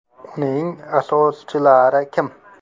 Uning asoschilari kim?